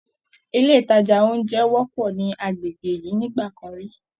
Ilé ìtajà oúnjẹ wọ́pọ̀ ní agbègbè yìí nígbà kan rí